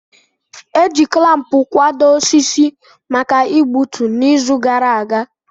E ji klampu kwado osisi maka igbutu, n'izu gara aga.